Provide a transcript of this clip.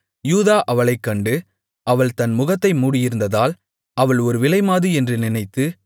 யூதா அவளைக் கண்டு அவள் தன் முகத்தை மூடியிருந்ததால் அவள் ஒரு விலைமாது என்று நினைத்து